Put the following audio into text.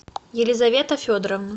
елизавета федоровна